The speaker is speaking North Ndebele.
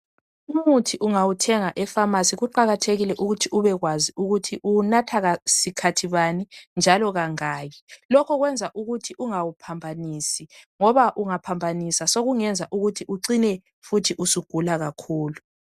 Umuthi ungawuthenga efamasi kuqakathekile ukuthi ubekwazi ukuthi uwunatha sikhathi bani njalo kangaki lokhu kwenza ukuthi ungawuphambanisi ngoba ungaphambanisa sokungenza ucine futhi usugula kakhulu.